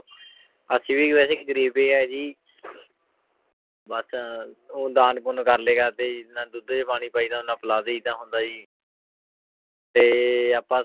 ਅਸੀਂ ਵੀ ਵੈਸੇ ਗ਼ਰੀਬ ਹੀ ਹੈ ਜੀ ਬਸ ਉਹ ਦਾਨ ਪੁੰਨ ਕਰਲੇ ਕਰਦੇ ਜੀ ਜਿੰਨਾ ਦੁੱਧ 'ਚ ਪਾਣੀ ਪਾਈਦਾ ਓਨਾ ਪਿਲਾ ਦੇਈਦਾ ਹੁੰਦਾ ਜੀ ਤੇ ਆਪਾਂ